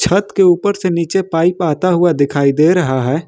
छत के ऊपर से नीचे पाइप आता हुआ दिखाई दे रहा है।